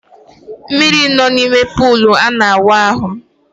Mmiri nọ n’ime pọlụ a na-awụ ahụ